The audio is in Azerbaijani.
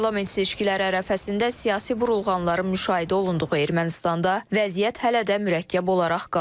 Parlament seçkiləri ərəfəsində siyasi burulğanların müşahidə olunduğu Ermənistanda vəziyyət hələ də mürəkkəb olaraq qalır.